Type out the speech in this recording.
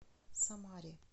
самаре